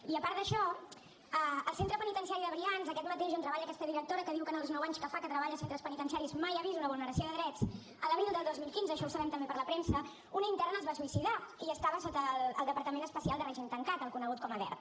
i a part d’això al centre penitenciari de brians aquest mateix on treballa aquesta directora que diu que en els nou anys que fa que treballa a centres penitenciaris mai ha vist una vulneració de drets l’abril del dos mil quinze això ho sabem també per la premsa una interna es va suïcidar i estava sota el departament especial de règim tancat el conegut com a dert